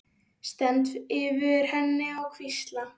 Stend yfir henni og hvísla.